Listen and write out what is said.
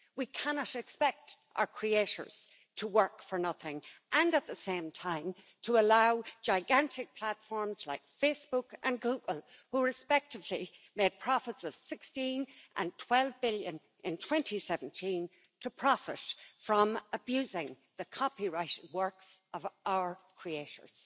We cannot expect our creators to work for nothing and at the same time allow gigantic platforms like Facebook and Google, who respectively made profits of 16 and 12 billion in 2017 to profit from abusing the copyright works of our creators.